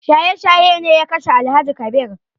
Shaye shaye ne ya kashe Alhaji Kabir